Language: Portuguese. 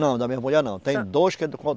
Não, da mesma mulher não. Tem dois que é do